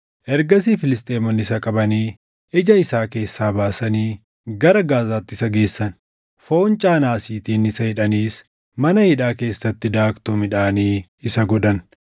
Ergasii Filisxeemonni isa qabanii ija isaa keessaa baasanii gara Gaazaatti isa geessan. Foncaa naasiitiin isa hidhaniis mana hidhaa keessatti daaktuu midhaanii isa godhan.